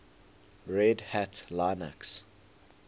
red hat linux